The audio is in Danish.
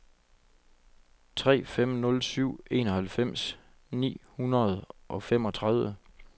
tre fem nul syv enoghalvfems ni hundrede og femogtredive